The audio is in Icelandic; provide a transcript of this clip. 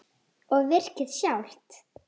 Og virkið sjálft?